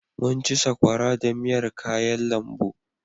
Mun ci sakwara da miyar kayan lambu.